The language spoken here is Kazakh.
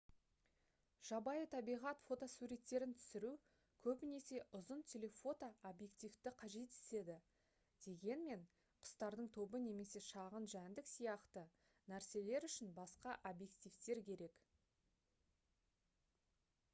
жабайы табиғат фотосуреттерін түсіру көбінесе ұзын телефото объективті қажет етеді дегенмен құстардың тобы немесе шағын жәндік сияқты нәрселер үшін басқа объективтер керек